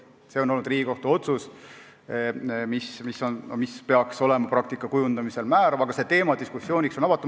See on olnud Riigikohtu otsus, mis peaks olema praktika kujundamisel määrav, aga teema on diskussiooniks avatud.